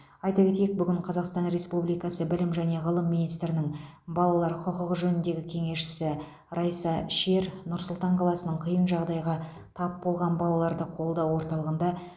айта кетейік бүгін қазақстан республикасы білім және ғылым министрінің балалар құқығы жөніндегі кеңесшісі райса шер нұр сұлтан қаласының қиын жағдайға тап болған балаларды қолдау орталығында